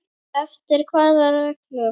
Eftir hvaða reglum?